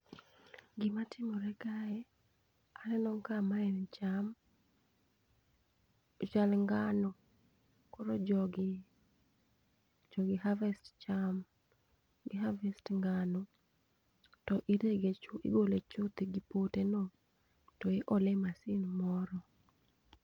Gima timore kae, aneno ka ma en cham, ochal ngano. Koro jogi, jogi harvest cham, gi harvest ngano to irege chuth igole chuth gi pote no to iole e masin moro.